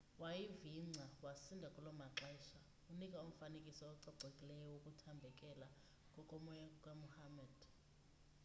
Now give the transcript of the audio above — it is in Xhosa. wayivingca wasinda kulomaxesha unika umfanekiso ocacileyo wokuthambekela kokomoya kukamuhammad